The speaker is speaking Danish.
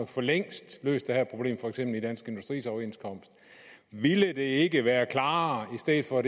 for længst løst det her problem for eksempel i dansk industris overenskomst ville det ikke være klarere i stedet for